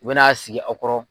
U bɛn'a sigi aw kɔrɔ.